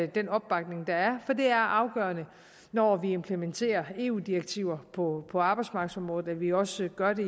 den opbakning der er for det er afgørende når vi implementerer eu direktiver på på arbejdsmarkedsområdet at vi også gør det